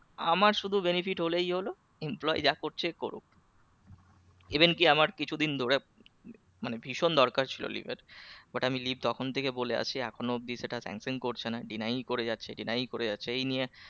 আমার শুধু benefit হলেই হলো employee যা করছে করুক even কি আমার কিছু দিন ধরে মানে ভীষণ দরকার ছিল leave এর but আমি leave তখন থেকে বলে আসি এখনো অবধি সেটা senction করছে না deny করে যাচ্ছে deny করে যাচ্ছে এই নিয়ে